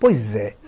Pois é